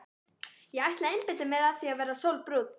Ég ætla að einbeita mér að því að verða sólbrún.